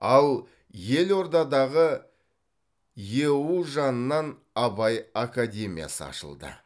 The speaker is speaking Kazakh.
ал елордадағы еұу жанынан абай академиясы ашылды